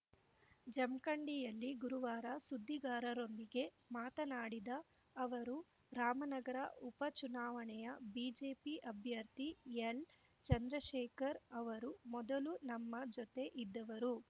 ಜಮ್ ಖಂಡಿಯಲ್ಲಿ ಗುರುವಾರ ಸುದ್ದಿಗಾರರೊಂದಿಗೆ ಮಾತನಾಡಿದ ಅವರು ರಾಮನಗರ ಉಪಚುನಾವಣೆಯ ಬಿಜೆಪಿ ಅಭ್ಯರ್ಥಿ ಎಲ್‌ಚಂದ್ರಶೇಖರ್‌ ಅವರು ಮೊದಲು ನಮ್ಮ ಜೊತೆ ಇದ್ದವರು